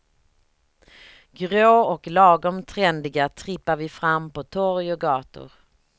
Grå och lagom trendiga trippar vi fram på torg och gator.